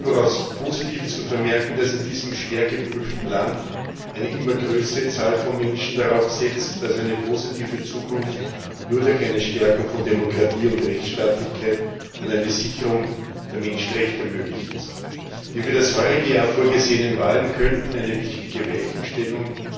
Es ist überaus positiv zu vermerken, dass in diesem schwer geprüften Land eine immer größere Zahl von Menschen darauf setzt, dass eine positive Zukunft nur durch eine Stärkung von Demokratie und Rechtsstaatlichkeit und eine Sicherung der Menschenrechte möglich ist. Die für das heurige Jahr vorgesehenen Wahlen könnten eine wichtige Weichenstellung